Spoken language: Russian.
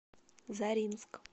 заринск